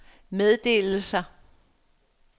meddelelser